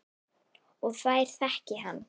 Og þær þekki hann.